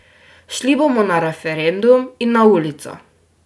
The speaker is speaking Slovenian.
Šli bomo na referendum in na ulico!